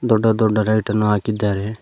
ದೊಡ್ಡ ದೊಡ್ಡ ಲೈಟ್ ಅನ್ನು ಹಾಕಿದ್ದಾರೆ.